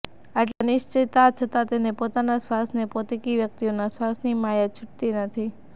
આટલી અનિશ્ચિતતા છતાં તેને પોતાના શ્વાસ ને પોતીકી વ્યક્તિઓના શ્વાસની માયા છૂટતી નથી